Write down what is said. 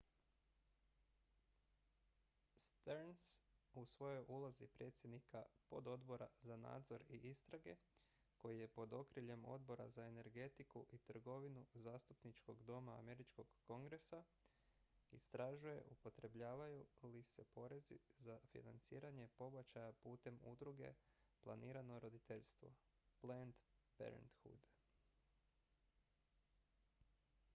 stearns u svojoj ulozi predsjednika pododbora za nadzor i istrage koji je pod okriljem odbora za energetiku i trgovinu zastupničkog doma američkog kongresa istražuje upotrebljavaju li se porezi za financiranje pobačaja putem udruge planirano roditeljstvo planned parenthood